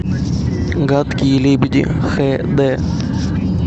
гадкие лебеди хэ дэ